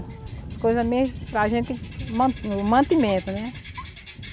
As coisas mesmo para a gente, o man o mantimento, né?